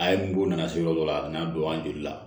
A ye mugu nana se yɔrɔ dɔ la a kana don an jigi la